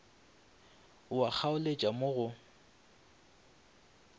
ao a kgaoletšago mo go